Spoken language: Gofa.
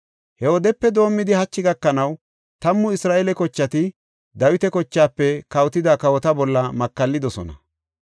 He wodepe doomidi hachi gakanaw tammu Isra7eele kochati Dawita kochaafe kawotida kawota bolla makallidosona.